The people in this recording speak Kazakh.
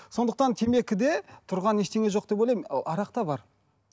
сондықтан темекіде тұрған ештеңе жоқ деп ойлаймын ал арақта бар